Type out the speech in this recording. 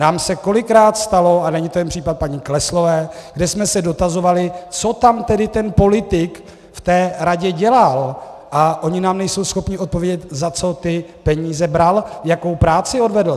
Nám se kolikrát stalo, a není to jen případ paní Kleslové, kde jsme se dotazovali, co tam tedy ten politik v té radě dělal, a oni nám nejsou schopni odpovědět, za co ty peníze bral, jakou práci odvedl.